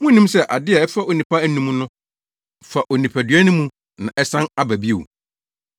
Munnim sɛ ade a ɛfa onipa anom no fa onipadua no mu na asan aba bio?